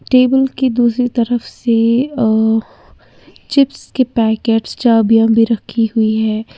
Table की दूसरी तरफ से अ चिप्स के पैकेट्स चाबियां भी रखी हुई है।